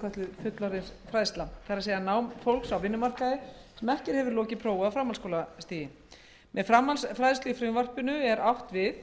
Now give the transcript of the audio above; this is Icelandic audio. kölluð fullorðinsfræðsla það er nám fólks á vinnumarkaði sem ekki hefur lokið prófi á framhaldsskólastigi með framhaldsfræðslu í frumvarpinu er átt við